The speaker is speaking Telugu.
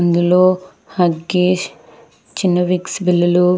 అందులో హగ్గీస్ చిన్న విక్స్ బిల్లలు --